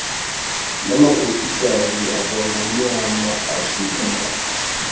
namakhosikazi akwangonyama ashukuma